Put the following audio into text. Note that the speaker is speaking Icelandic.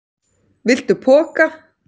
Viltu poka?